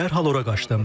Dərhal ora qaçdım.